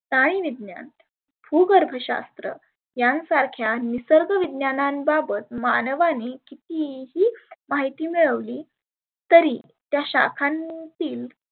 स्थाई विज्ञान, भुगर्भ शास्त्र यांसारख्या निसर्ग विज्ञाना बाबत मानवानी किती ही माहिती मिळवली तरी त्या शाखांतील